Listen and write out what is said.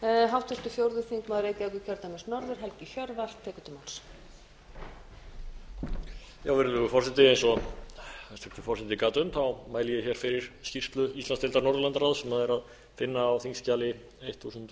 virðulegur forseti eins og hæstvirtur forseti gat um mæli ég hér fyrir skýrslu íslandsdeildar norðurlandaráðs sem er að finna á þingskjali þúsund